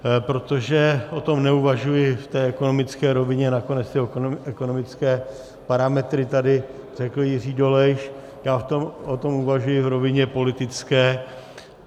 Protože o tom neuvažuji v té ekonomické rovině, nakonec ty ekonomické parametry tady řekl Jiří Dolejš, já o tom uvažuji v rovině politické.